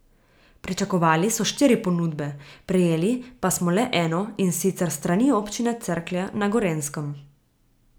Pričakovali so štiri ponudbe, prejeli pa smo le eno, in sicer s strani Občine Cerklje na Gorenjskem.